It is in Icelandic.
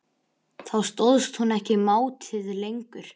Þá stóðst hún ekki mátið lengur.